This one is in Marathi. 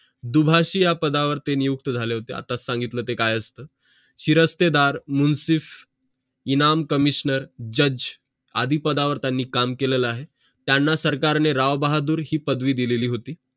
दुभाषी या पदावर ते नियुक्त झाले होते आता सांगितलं ते काय असतं शिरस्तेदार मुन्सिफ इनाम कमिश्नर जज आदी पदांवर त्यांनी काम केलेलं आहे त्यांना सरकारने राव बहादूर हि पदवी दिलेली होती